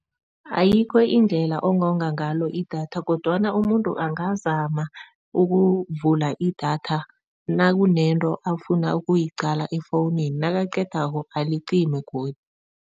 Ayikho indlela ongonga ngayo idatha, kodwana umuntu angazama ukuvula idatha nakunento afuna ukuyiqala efowunini nakaqedako alicime godu.